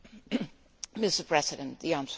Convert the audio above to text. Mr President, the answer is yes.